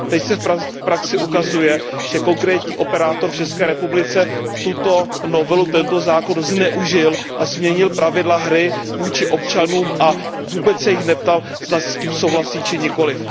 Teď se v praxi ukazuje, že konkrétní operátor v České republice tuto novelu, tento zákon zneužil a změnil pravidla hry vůči občanům a vůbec se jich neptal, zda s tím souhlasí či nikoliv.